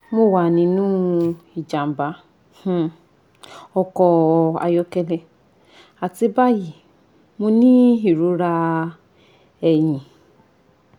mo wa ninu ijamba um ọkọ ayọkẹlẹ ati bayi mo ni irora ẹhin